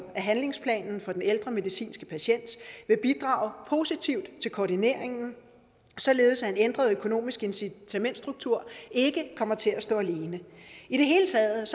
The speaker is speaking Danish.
at handlingsplanen for den ældre medicinske patient vil bidrage positivt til koordineringen således at en ændret økonomisk incitamentsstruktur ikke kommer til at stå alene i det hele taget